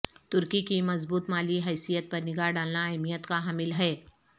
ترکی کی مضبوط مالی حیثیت پر نگاہ ڈالنا اہمیت کا حامل ہے